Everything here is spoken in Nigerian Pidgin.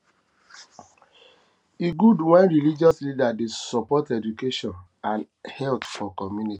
e good wen religious leaders dey support education and health for community